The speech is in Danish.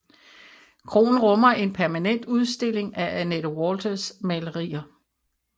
Kroen rummer en permanent udstilling af Anette Walthers malerier